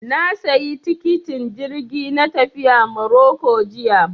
Na sayi tikitin jirgi na tafiya Maroko jiya